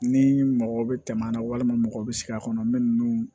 Ni mɔgɔ bɛ tɛmɛ an na walima mɔgɔw bɛ sigi a kɔnɔ bɛ ninnu